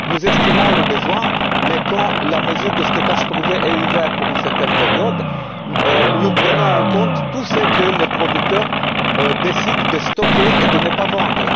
Nous estimons les besoins mais quand la mesure de stockage privé est ouverte pour une certaine période, nous prenons en compte tout ce que le producteur décide de stocker et de ne pas vendre.